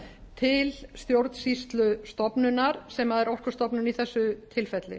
til stjórnsýslustofnunar sem er orkustofnun í þessu tilfelli